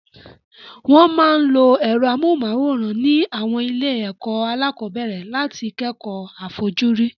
Wọ́n máa ń lo ẹ̀rọ amóhùnmáwòrán ní àwọn ilé-ẹ̀kọ́ alákọ̀ọ́bẹ̀rẹ̀ láti kẹ́kọ̀ọ́ àfojúrí.